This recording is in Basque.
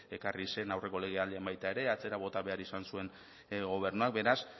ekarri zen aurreko legealdian baita ere atzera bota behar izan zuen gobernuak beraz